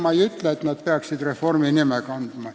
Ma ei ütle, et need peaksid reformi nime kandma.